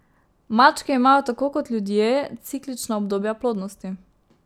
Mačke imajo, tako kot ljudje, ciklična obdobja plodnosti.